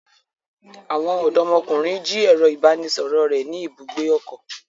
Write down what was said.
Àwọn ọdọmọkunrin ji ẹrọ ibanisọrọ rẹ ni ibùgbé ọkọ.